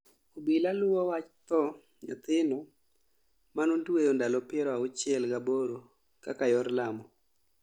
Obila luo wach tho nyathino manotweyo ndalo piero auchiel gaboro kaka yor lamo